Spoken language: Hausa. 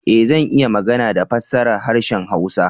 Ee! Zan iya magana da fassara harshen hausa.